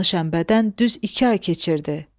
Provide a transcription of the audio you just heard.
Qanlı şənbədən düz iki ay keçirdi.